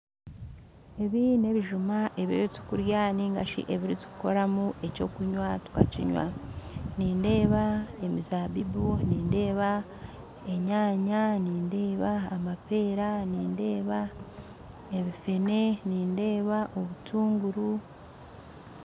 Ebi n'ebijuma ebiturikurya nainga shi ebiturikukoramu eky'okunywa tukakinywa nindeeba emizaabibu nindeeba enyaanya nindeeba amapeera nindeeba ebifenensi nindeeba obutunguru